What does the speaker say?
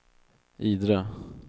Idre